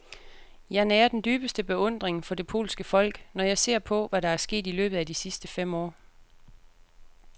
Jeg nærer den dybeste beundring for det polske folk, når jeg ser på, hvad der er sket i løbet af de sidste fem år.